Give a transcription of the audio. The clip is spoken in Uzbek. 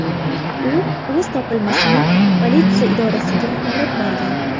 U o‘z topilmasini politsiya idorasiga olib borgan.